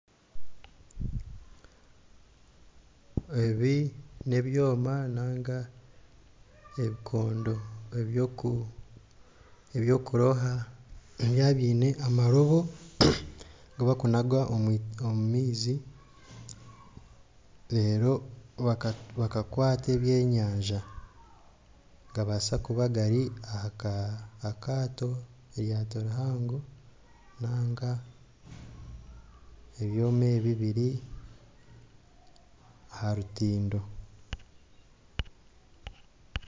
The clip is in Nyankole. Ebi nebyoma ninga ebikondo ebyokuroba byine amarobo agu barikunaga omu maizi reero bakakwata eby'enyanja nigabaasa kuba gari ahakaato , eryato rihango ninga ebyoma ebi biri aha rutindo